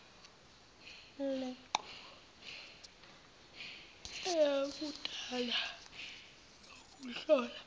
lenqubo yakudala lokuhlola